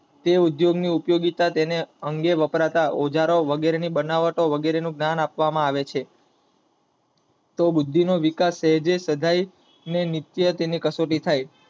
જે ઉદ્યોગ ની ઉપયોગીતા તેના અંગે વપરાતા ઓજારો વગેરે ની બનાવતો વગેરે નું ગાયન આપવામાં આવે છે. તો બુદ્ધિ નો વિકાસ ને નિત્ય તેની કસોટી થાય.